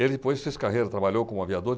Ele depois fez carreira, trabalhou como aviador.